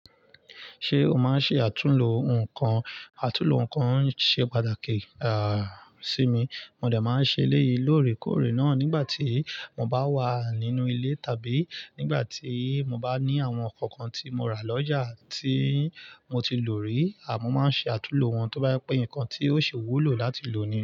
Ṣé o máa ń ṣe àtúnlo nǹkan? Àtúnlo nǹkan ṣe pàtàkì, à, sí mi. Mó dé máa ń ṣe eléyìí lóòrèkóòrè náà nígbà tí mo bá wà nínú ilé tàbí nígbà tí mo bá ní àwọn nǹkan kan tí mo rà lọ́jà tí mo ti lò rí. A mo máa ń ṣe àtúnlo wọn tó bá jẹ pé nǹkan tí ó ṣi wúlò láti lò ní.